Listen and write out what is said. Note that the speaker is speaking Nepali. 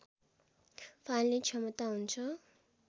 फाल्ने क्षमता हुन्छ